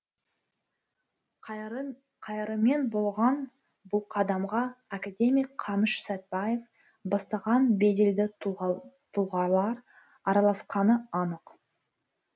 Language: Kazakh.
қайырымен болған бұл қадамға академик қаныш сәтбаев бастаған беделді тұлғалар араласқаны анық